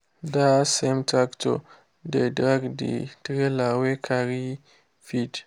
that same tractor dey drag the trailer wey carry feed.